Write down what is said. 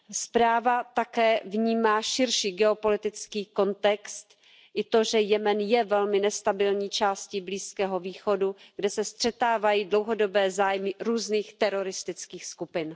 Zpráva také vnímá širší geopolitický kontext i to, že Jemen je velmi nestabilní částí Blízkého východu, kde se střetávají dlouhodobé zájmy různých teroristických skupin.